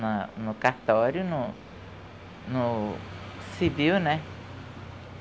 Na, no cartório, no, no civil, né?